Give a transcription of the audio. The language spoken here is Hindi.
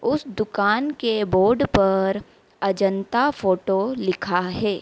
उस दुकान के बोर्ड पर अजंता फोटो लिखा है।